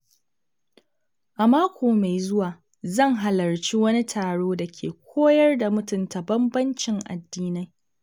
A mako mai zuwa, zan halarci wani taro da ke koyar da mutunta bambancin addinai.